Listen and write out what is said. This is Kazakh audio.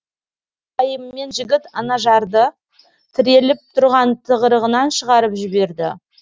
бұл пайымымен жігіт анажарды тіреліп тұрған тығырығынан шығарып жіберді